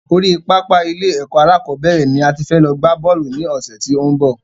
Orí pápá ilé ẹ̀kọ́ alákọ̀bẹ́rẹ̀ ni a ti fẹ́ lọ gbá Bọ́ọ̀lù ní ọ̀sẹ̀ tí ó n bọ̀